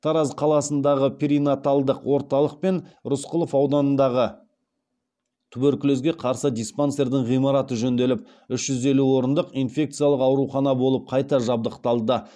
тараз қаласындағы перинаталдық орталық пен рысқұлов ауданындағы туберкулезге қарсы диспансердің ғимараты жөнделіп үш жүз елу орындық инфекциялық аурухана болып қайта жабдықталды